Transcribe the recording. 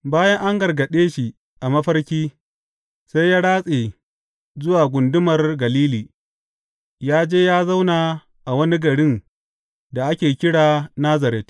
Bayan an gargaɗe shi a mafarki, sai ya ratse zuwa gundumar Galili, ya je ya zauna a wani garin da ake kira Nazaret.